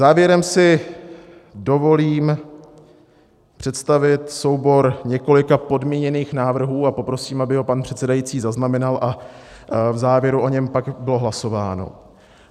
Závěrem si dovolím představit soubor několika podmíněných návrhů a poprosím, aby ho pan předsedající zaznamenal a v závěru o něm pak bylo hlasováno.